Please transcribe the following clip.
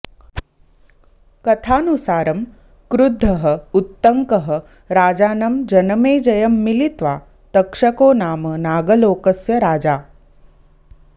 कथानुसारं कृद्धः उत्तङ्कः राजानं जनमेजयं मिलित्वा तक्षको नाम नागलोकस्य राजा